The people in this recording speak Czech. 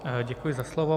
Děkuji za slovo.